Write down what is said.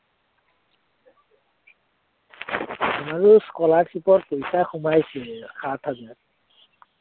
আমাৰো scholarship ৰ পইচা সোমাইছিলে সাত হাজাৰ